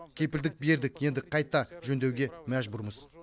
кепілдік бердік енді қайта жөндеуге мәжбүрміз